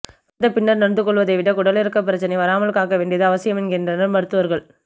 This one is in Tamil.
வந்த பின்னர் நொந்து கொள்வதை விட குடல் இறக்கம் பிரச்னை வராமல் காக்க வேண்டியது அவசியம் என்கின்றனர் மருத்துவர்கள்